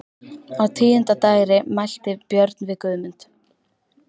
Á tíunda dægri mælti Björn við Guðmund: